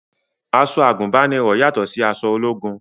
Aṣọ àgùnbánirọ̀ yàtọ̀ sí aṣọ ológun